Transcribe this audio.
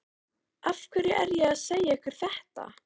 Af hverju er ég að segja ykkur þetta?